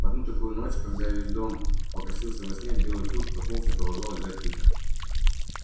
в одну такую ночь когда весь дом покосился во сне белый клык проснулся и продолжал лежать тихо